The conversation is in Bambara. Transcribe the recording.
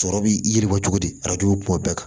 Sɔrɔ bi yiri bɔ cogo di arajo bɛ kuma bɛɛ